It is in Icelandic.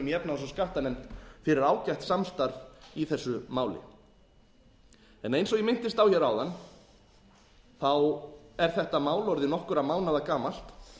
í efnahags og skattanefnd fyrir ágætt samstarf í þessu máli eins og ég minntist á hér áðan er þetta mál orðið nokkurra mánaða gamalt